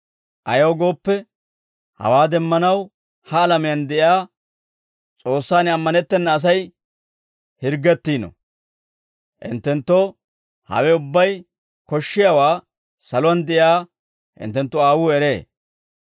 Ayaw gooppe, hawaa demmanaw ha alamiyaan de'iyaa S'oossaan ammanettena Asay hirggettiino. Hinttenttoo hawe ubbay koshshiyaawaa saluwaan de'iyaa hinttenttu aawuu eree.